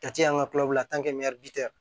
Kati y'an ka kulonkɛ la